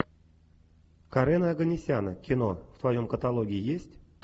карена оганесяна кино в твоем каталоге есть